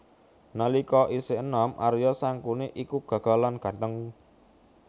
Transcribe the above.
Nalika isih enom Arya Sangkuni iku gagah lan gantheng